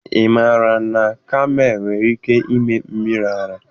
Ị maara na kamel nwere ike ịme mmiri ara?